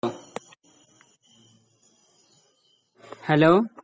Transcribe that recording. hello